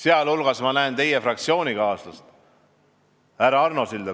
Ma näen siin teie fraktsioonikaaslast härra Arno Silda.